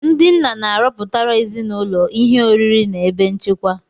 Ndị nna na-arọpụtara ezinụlọ ihe oriri na ebe nchekwa